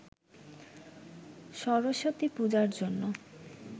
সরস্বতী পূজার জন্য